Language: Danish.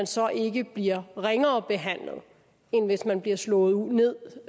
så ikke bliver ringere behandlet end hvis man bliver slået ned